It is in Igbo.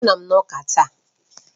Anọ m na Ụka ​​taa.